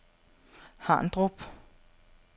Harndrup